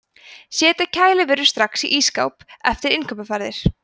setja kælivörur strax í ísskáp eftir innkaupaferðir